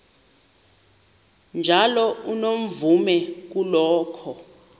njalo unomvume kuloko